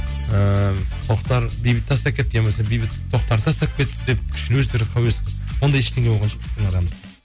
ыыы тоқтар бейбітті тастап кетті иә болмаса бейтіт тоқтарды тастап кетіпті деп ондай ештеңе болған жоқ біздің арамызда